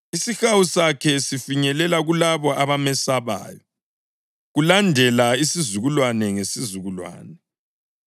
Isihawu sakhe sifinyelela kulabo abamesabayo, kulandela isizukulwane ngesizukulwane.